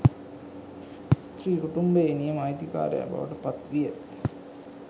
ස්ත්‍රිය කුටුම්භයේ නියම අයිතිකාරයා බවට පත් විය